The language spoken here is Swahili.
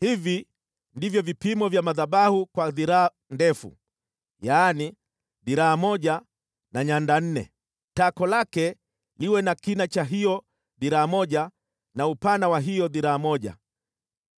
“Hivi ndivyo vipimo vya madhabahu kwa dhiraa ndefu, yaani, dhiraa moja na nyanda nne: Tako lake liwe na kina cha hiyo dhiraa moja na upana wa hiyo dhiraa moja,